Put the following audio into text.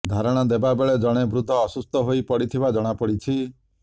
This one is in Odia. ଧାରଣା ଦେବା ବେଳେ ଜଣେ ବୃଦ୍ଧ ଅସୁସ୍ଥ ହୋଇ ପଡ଼ିଥିବା ଜଣାପଡ଼ିଛି